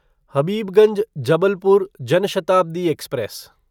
Habibganj Jabalpur Jan Shatabdi express